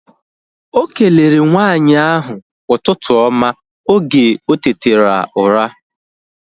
Okelere nwaanyị ahu ụtụtụ oma oge otetara ụra